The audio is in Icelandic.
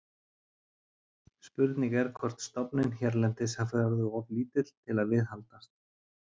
Spurning er hvort stofninn hérlendis hafi orðið of lítill til að viðhaldast.